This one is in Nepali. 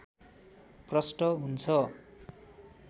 प्रस्ट हुन्छ